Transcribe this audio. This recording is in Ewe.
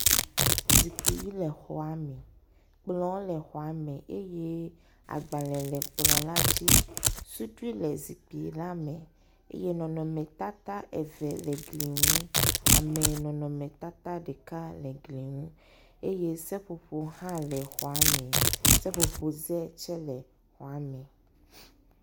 Zikpi ʋi le xɔame, kplɔ̃ le xɔame eye gbalẽ le kplɔ̃ la dzi. sudui le zikpi la me eye nɔnɔmetata eve le gli ŋu, amenɔnɔmetata ɖeka le gli ŋu eye seƒoƒo hã le xɔame seƒoƒoƒze tsɛ le xɔame.